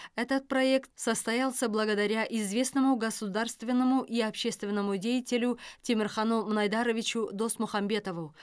этот проект состоялся благодаря известному государственному и общественному деятелю темирхану мынайдаровичу досмухамбетову